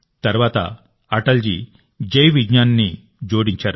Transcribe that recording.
తర్వాత అటల్ జీ జై విజ్ఞాన్ని జోడించారు